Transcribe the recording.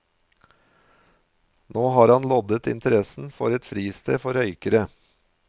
Nå har han loddet interessen for et fristed for røykere.